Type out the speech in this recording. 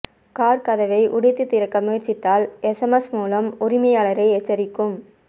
car கதவை உடைத்து திறக்க முயற்சித்தால் எஸ்எம்எஸ் மூலம் உரிமையாளரை எச்சரிக்கும்